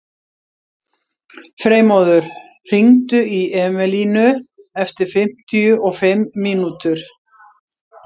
Freymóður, hringdu í Emelínu eftir fimmtíu og fimm mínútur.